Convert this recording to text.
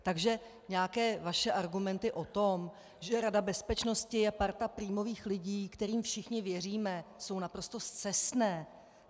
Takže nějaké vaše argumenty o tom, že Rada bezpečnosti je parta prímových lidí, kterým všichni věříme, jsou naprosto scestné!